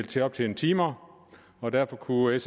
til at optjene timer og derfor kunne